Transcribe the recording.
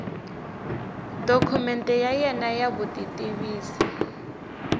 dokumende ya wena ya vutitivisi